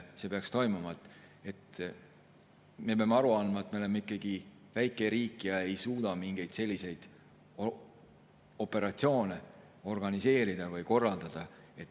Me peame aru andma, et me oleme ikkagi väike riik ja ei suuda mingeid selliseid operatsioone organiseerida või korraldada.